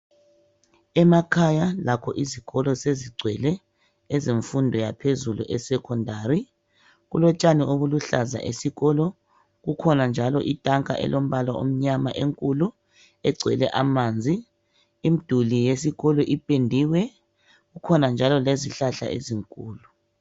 Emakhaya lakho izikolo sezigcwele ezemfundo yaphezulu esekhondari. Kulotshani obuluhlaza esikolo. Kukhona njalo itanka elombala omnyama enkulu egcwele amanzi. Imduli yesikolo ipendiwe. Kukhona njalo lezihlahla ezinkulu.